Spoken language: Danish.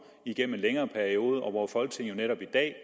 igennem en længere periode og hvor folketinget netop i dag